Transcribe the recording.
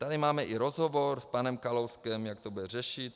Tady máme i rozhovor s panem Kalouskem, jak to bude řešit.